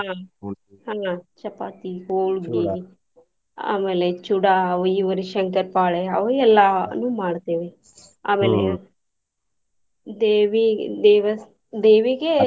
ಆಹ್ ಆಹ್ ಚಪಾತಿ, ಹೊಳ್ಗಿ ಆಮೇಲೆ ಚೂಡಾ ಅವ ಇವರಿ ಶಂಕರಪಾಳೆ ಅವು ಎಲ್ಲಾನು ಮಾಡ್ತೇವಿ. ಆಮೇಲೆ ದೇವಿ ದೇವಸ್~ ದೇವಿಗೆ